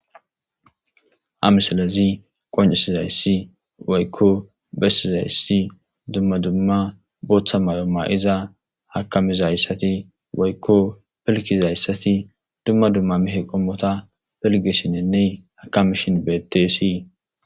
ha misilezi qoncisizayssi waykko bessizayssi dumma dumma booththa mayumma iza hakamizayssati waykko pelkizayssati dumma dumma mihe qommota pelgishinenney hakamishin beettessii.